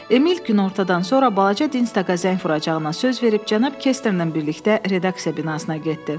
Emil günortadan sonra balaca Dinsdaka zəng vuracağına söz verib cənab Kestnerlə birlikdə redaksiya binasına getdi.